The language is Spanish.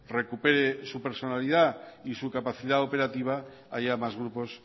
recupere su personalidad y su capacidad operativa haya más grupos